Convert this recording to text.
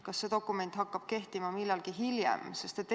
Kas see dokument hakkab kehtima millalgi hiljem?